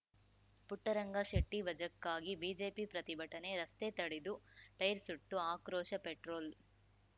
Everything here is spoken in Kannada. ಪುಟ್ಟರಂಗ ಶೆಟ್ಟಿವಜಾಕ್ಕಾಗಿ ಬಿಜೆಪಿ ಪ್ರತಿಭಟನೆ ರಸ್ತೆ ತಡೆದು ಟೈರ್‌ ಸುಟ್ಟು ಆಕ್ರೋಶ ಪೆಟ್ರೋಲ್‌